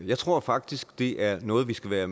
jeg tror faktisk det er noget vi skal være